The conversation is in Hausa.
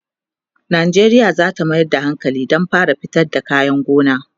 Najeriya zata Mayar da hankali Dan ta fara fitar da kayan gona